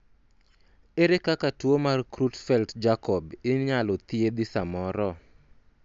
ere kaka tuo mar Creutzfeldt Jakob inyalo thiedhi samoro ?